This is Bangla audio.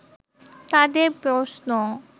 তাদের প্রশ্ন